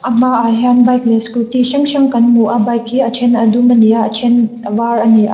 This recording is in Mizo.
a hmaah hian bike leh scooty hrang hrang kan hmu a bike hi a then a dum ani a a then a var ani a.